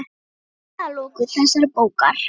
Þá er komið að lokum þessarar bókar.